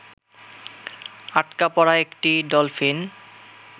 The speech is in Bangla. আটকা পড়া একটি ডলফিন